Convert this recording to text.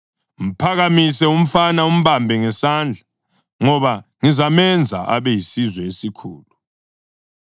Mphakamise umfana umbambe ngesandla, ngoba ngizamenza abe yisizwe esikhulu.”